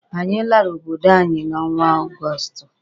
Anyị lara obodo anyi n'ọnwa Ọgọsụtụ.